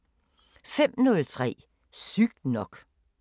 05:03: Sygt nok